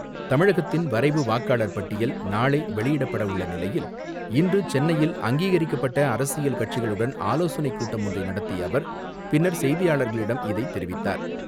தமிழகத்தின் வரைவு வாக்காளர் பட்டியல் நாளை வெளியிடப்பட உள்ள நிலையில் இன்று சென்னையில் அங்கீகரிக்கப்பட்ட அரசியல் கட்சிகளுடன் ஆலோசனைக் கூட்டம் ஒன்றை நடத்திய அவர் பின்னர் செய்தியாளரிடம் இதை தெரிவித்தார்.